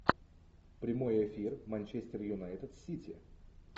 прямой эфир манчестер юнайтед сити